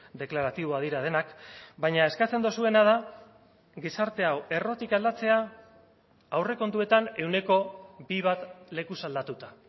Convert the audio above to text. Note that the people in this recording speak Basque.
deklaratiboak dira denak baina eskatzen duzuena da gizarte hau errotik aldatzea aurrekontuetan ehuneko bi bat lekuz aldatuta